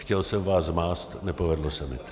Chtěl jsem vás zmást, nepovedlo se mi to.